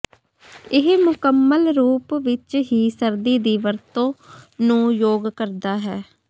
ਇਹ ਮੁਕੰਮਲ ਰੂਪ ਵਿੱਚ ਹੀ ਸਰਦੀ ਦੀ ਵਰਤੋ ਨੂੰ ਯੋਗ ਕਰਦਾ ਹੈ